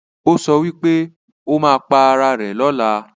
ọ so wípé ó má pá Àrà rẹ̀ lọla.